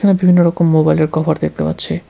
বিভিন্ন রকম মোবাইলের কভার দেখতে পাচ্ছি।